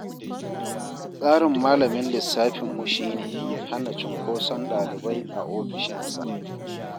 Tsarin malamin lissafinmu shi ne, hana cunkoson ɗalibai a ofishinsa.